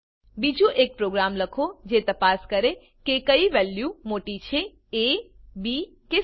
બીજું એક પ્રોગ્રામ લખો જે તપાસ કરે કે કઈ વેલ્યુ મોટી છે એ બી કે સી